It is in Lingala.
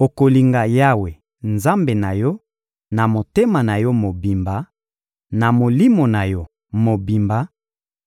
Okolinga Yawe, Nzambe na yo, na motema na yo mobimba, na molimo na yo mobimba